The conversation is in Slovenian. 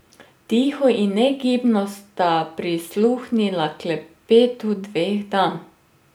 Tiho in negibno sta prisluhnila klepetu dveh dam.